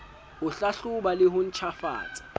ho hlahloba le ho ntjhafatsa